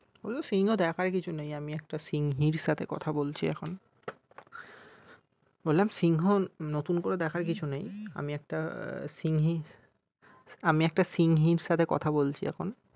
ওই সিংহ দেখার কিছু নেই আমি একটা সিংহীর সাথে কথা বলছি এখন। বললাম সিংহ নতুন করে দেখার কিছু নেই আমি একটা সিংহী আমি একটা সিংহীর সাথে কথা বলছি এখন।